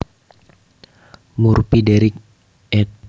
Murphy Derrick ed